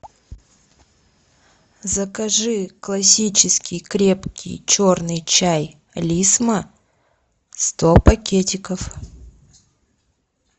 закажи классический крепкий черный чай лисма сто пакетиков